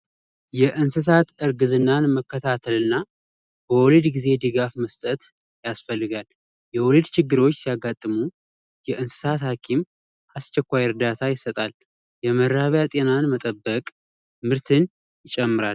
የእንስሳት እርግዝናን መከታተልና በወሊድጊዜ ድጋፍ መስጠት ያስፈልጋል የወሊድ ችግሮች ያጋጠሙ የእንስሳት ሀኪም አስቸኳይ እርዳታ ይሰጣል የመራቢያ ጤናን መጠበቅ ምርትን ይጨምራል።